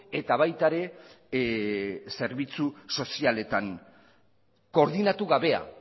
eta baita ere zerbitzu sozialetan koordinatu gabea